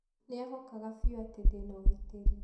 Nĩ eehokaga biũ atĩ ndĩ na ũgitĩri.